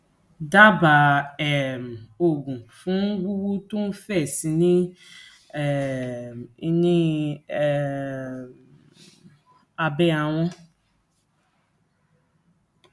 dábàá um oògùn fún wúwú tó ń fẹ̀ sí um i ni um i ni um abẹ́ ahọn